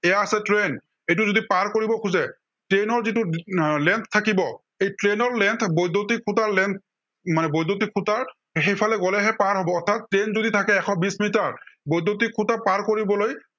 এইয়া আছে train এইটো যদি পাৰ কৰিব খোজে, train ৰ যিটো আহ length থাকিব, এই train ৰ length বৈদ্য়ুতিক খুটাৰ length মানে বৈদ্য়ুতিক খুটাৰ সেইফালে গলেহে পাৰ হব, অৰ্থাত train যদি এশ বিশ মিটাৰ। বৈদ্য়ুতিক খুটা পাৰ কৰিবলৈ